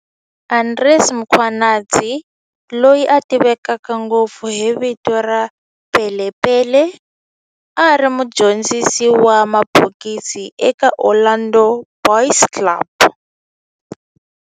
Andries Mkhwanazi, loyi a tiveka ngopfu hi vito ra Pele Pele, a ri mudyondzisi wa mabokisi eka Orlando Boys Club.